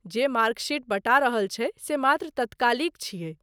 जे mark sheet बँटा रहल छै से मात्र तत्कालिक छियै।